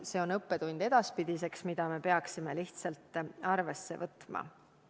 See kõik on õppetund edaspidiseks, mida me peaksime lihtsalt arvesse võtma.